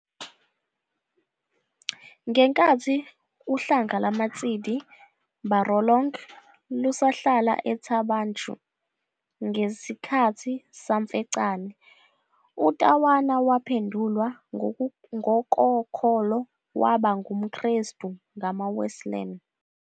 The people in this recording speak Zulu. Ngenkathi uhlanga lama-Tshidi Barolong lusahlala eThaba Nchu, ngesikhathi saMfecane, uTawana waphendulwa ngokokholo waba ngu-Mkhrestu ngama-Wesleyan.